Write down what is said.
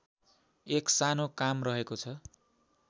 एक सानो काम रहेको छ